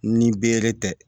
Ni bere tɛ